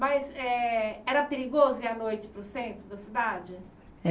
Mas eh era perigoso ir à noite para o centro da cidade?